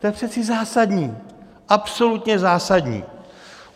To je přece zásadní, absolutně zásadní.